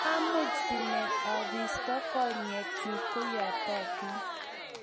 mamuch sinen abisto konyekchu koyatotin